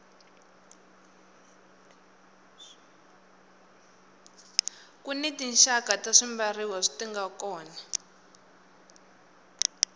kuni tinxaka ta swibyariwa swinga kona